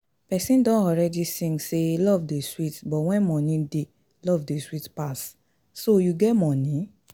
Person don already sing say love dey sweet but when money dey love dey sweet pass, so you get money?